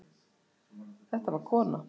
Þetta var kona.